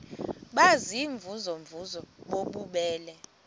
baziimvuze mvuze bububele